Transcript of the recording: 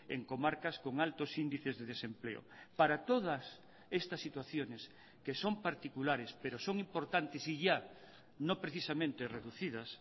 en comarcas con altos índices de desempleo para todas estas situaciones que son particulares pero son importantes y ya no precisamente reducidas